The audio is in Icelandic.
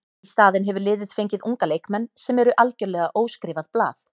Í staðinn hefur liðið fengið unga leikmenn sem eru algjörlega óskrifað blað.